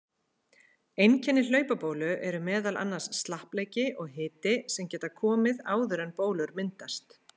Einkenni hlaupabólu eru meðal annars slappleiki og hiti sem geta komið áður en bólur myndast.